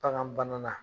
Bagan bana na